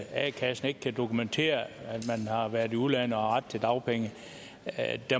a kassen ikke kan dokumentere at man har været i udlandet og har ret til dagpenge